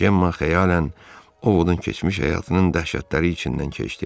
Cemma xəyalən oğulun keçmiş həyatının dəhşətləri içindən keçdi.